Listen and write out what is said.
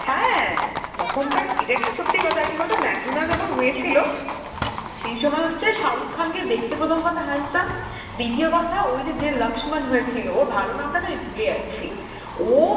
হ্যাঁ তখনকার এটা একটা সত্যি কথা কি বলতো Hindi যখন হয়েছিল, সেই সময় হচ্ছে সাহ্রুক্স খান কে দেখতে প্রথম কথা হচ্ছে handsome, দিতীয় কথা ওই যে যে Hindi হয়েছিল, ওর ভালো নামটা না আমি ভুলে যাচ্ছি, ও